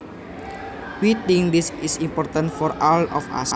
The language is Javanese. We think this is important for all of us